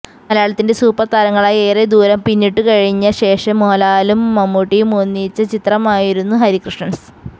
മലയാളത്തിന്റെ സൂപ്പര്താരങ്ങളായി ഏറെ ദൂരം പിന്നിട്ടുകഴിഞ്ഞ ശേഷം മോഹന്ലാലും മമ്മൂട്ടിയും ഒന്നിച്ച ചിത്രമായിരുന്നു ഹരികൃഷ്ണന്സ്